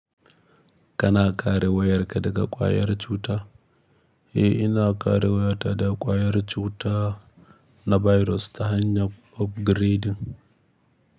Kana kare wayarka daga ƙwayar cuta? Eh, ina kare wayata daga ƙwayar cuta na birus ta hanyar ofgreɗin.